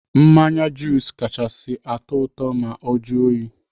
Mmanya jus kachasị atụ ụtọ ma ọ juo oyi.